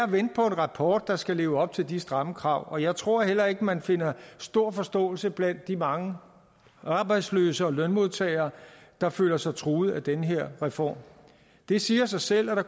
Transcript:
på en rapport der skal leve op til de stramme krav og jeg tror heller ikke man finder stor forståelse blandt de mange arbejdsløse og lønmodtagere der føler sig truet af den her reform det siger sig selv at der